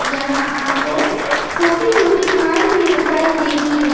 यहां आपको छोटी छोटी घास भी दिखाई देगी।